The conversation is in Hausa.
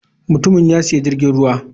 Mutumin ya sayi jirgin ruwa.